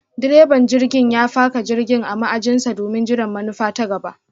direban jirgin ya faka jirgin a ma'ajin sa domin jiran manufa ta gaba.